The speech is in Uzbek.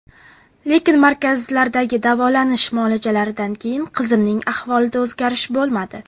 Lekin, markazlardagi davolanish muolajalaridan keyin qizimning ahvolida o‘zgharish bo‘lmadi.